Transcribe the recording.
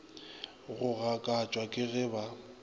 go gakatšwa ke ge ba